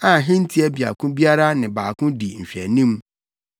a hentia baako biara ne baako di nhwɛanim.